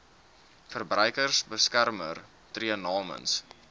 verbruikersbeskermer tree namens